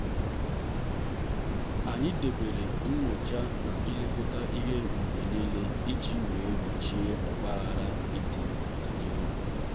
anyị debere nyocha na ilekọta ihe mgbe niile iji wee gbochie ogbaghara ịdị n'ọdịnihu.